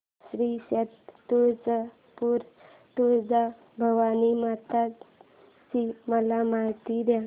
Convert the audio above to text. श्री क्षेत्र तुळजापूर तुळजाभवानी माता ची मला माहिती दे